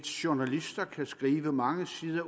journalister kan skive mange sider